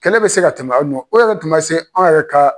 Kɛlɛ bɛ se ka tɛmɛ aw nɔ o yɛrɛ tun ma se anw yɛrɛ ka